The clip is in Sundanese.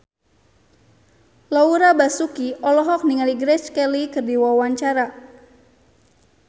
Laura Basuki olohok ningali Grace Kelly keur diwawancara